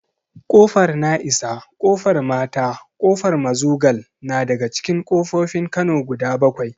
Ƙofar na'isa, ƙofar mata, ƙofar mazugal na daga cikin ƙofofin kano guda bakwai